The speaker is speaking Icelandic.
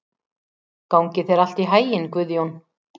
Gangi þér allt í haginn, Guðjón.